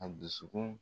A dusukun